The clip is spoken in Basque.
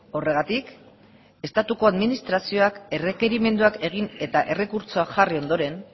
horregatik estatuko administrazioak errekerimenduak egin eta errekurtsoak jarri ondoren